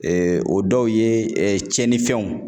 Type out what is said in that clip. o dɔw ye tiɲɛnifɛnw